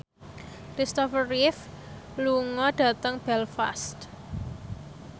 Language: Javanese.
Christopher Reeve lunga dhateng Belfast